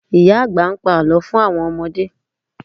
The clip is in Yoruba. Ìyá àgbà ń pa Àlọ́ fún àwọn ọmọdé